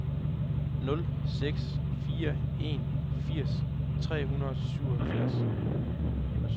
nul seks fire en firs tre hundrede og syvogfirs